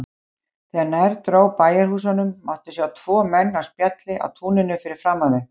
Þegar nær dró bæjarhúsunum mátti sjá tvo menn á spjalli á túninu fyrir framan þau.